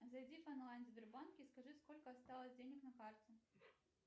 зайди в онлайн сбербанк и скажи сколько осталось денег на карте